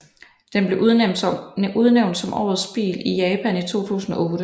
Den blev udnævnt som Årets bil i Japan i 2008